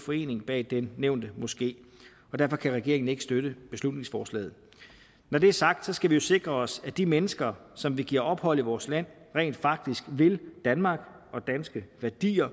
forening bag den nævnte moské og derfor kan regeringen ikke støtte beslutningsforslaget når det er sagt skal vi jo sikre os at de mennesker som vi giver ophold i vores land rent faktisk vil danmark og danske værdier